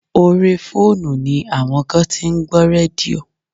Orí fóònù ni àwọn kan tí ń gbọ́ rédíò.